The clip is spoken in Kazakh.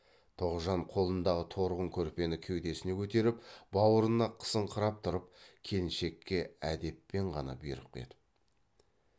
тоғжан қолындағы торғын көрпені кеудесіне көтеріп бауырына қысыңқырап тұрып келіншекке әдеппен ғана бұйрық етіп